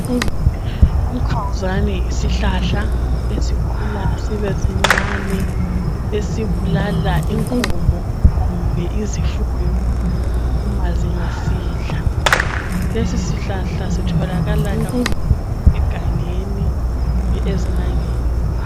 Umkhawuzane yisihlahla esikhula sibesincane esibulala inkomo kumbe izifuyo uma zingasidla lesi sihlahla sitholakala kakhulu egangeni kumbe ezinangeni.